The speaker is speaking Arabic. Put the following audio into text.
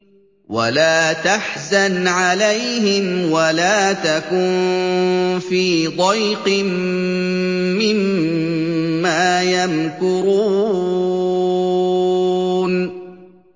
وَلَا تَحْزَنْ عَلَيْهِمْ وَلَا تَكُن فِي ضَيْقٍ مِّمَّا يَمْكُرُونَ